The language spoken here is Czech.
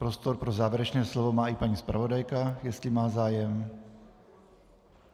Prostor pro závěrečné slovo má i paní zpravodajka, jestli má zájem.